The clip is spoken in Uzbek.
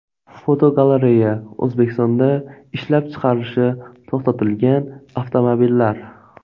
Fotogalereya: O‘zbekistonda ishlab chiqarilishi to‘xtatilgan avtomobillar.